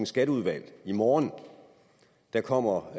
skatteudvalg i morgen der kommer